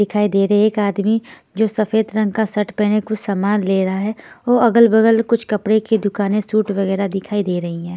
दिखाई दे रहे एक आदमी जो सफेद रंग का शर्ट पहने कुछ सामान ले रहा है और अगल-बगल कुछ कपड़े की दुकानें सूट वगैरह दिखाई दे रही हैं.